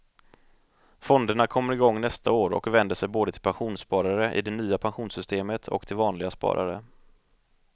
Fonderna kommer igång nästa år och vänder sig både till pensionssparare i det nya pensionssystemet och till vanliga sparare.